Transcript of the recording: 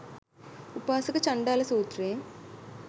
උපාසක චණ්ඩාල සූත්‍රයෙන්,